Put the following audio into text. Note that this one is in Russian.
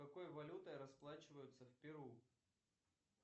какой валютой расплачиваются в перу